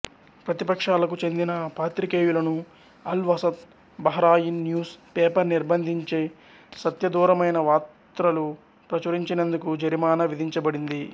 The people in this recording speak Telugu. ప్రతిపక్షాలకు చెందిన పాత్రికేయులను Al Wasat Bahrain news paper నిర్భంధించిసత్యదూరమైన వాత్రలు ప్రచురించినందుకు జరిమానా విధించబడింది